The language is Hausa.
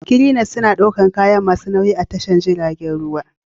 Cranes suna ɗaukar kaya masu nauyi a tashar jiragen ruwa